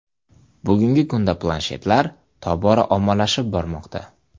Bugungi kunda planshetlar tobora ommalashib bormoqda.